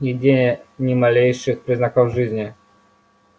нигде ни малейших признаков жизни